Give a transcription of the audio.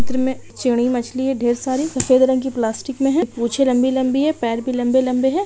इस चित्र में चिड़ी मछली है ढेर सारी सफ़ेद रंग की प्लास्टिक में है और पूँछे लम्बी-लम्बी है और पैर भी लम्बे-लम्बे है।